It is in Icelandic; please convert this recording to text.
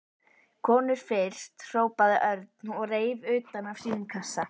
Konur fyrst hrópaði Örn og reif utan af sínum kassa.